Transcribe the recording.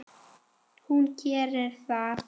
Hún gerir það.